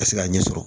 Ka se k'a ɲɛ sɔrɔ